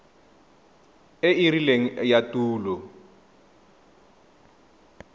e e rileng ya tulo